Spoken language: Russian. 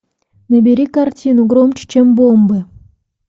набери картину громче чем бомбы